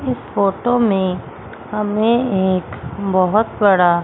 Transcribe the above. इस फोटो में हमें एक बहोत बड़ा--